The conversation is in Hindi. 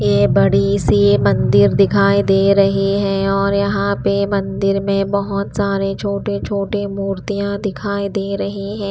ये बड़ी सी मंदिर दिखाई दे रही है और यहाँ पे मंदिर में बहुत सारे छोटे-छोटे मूर्तियां दिखाई दे रही हैं।